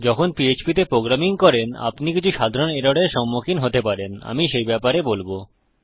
যখন পিএচপি তে প্রোগ্রামিং করেন আপনি কিছু সাধারণ এররের সম্মুখীন হতে পারেন আমি সেই ব্যাপারে বলবো